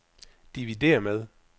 dividér med